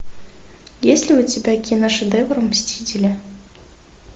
есть ли у тебя киношедевр мстители